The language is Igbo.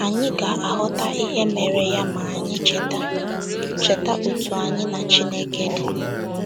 Anyị ga - aghọta ihe mere ya ma anyị cheta cheta otú anyị na Chineke dị.